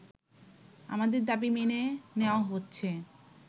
আমাদের দাবি মেনে নেওয়া হচ্ছে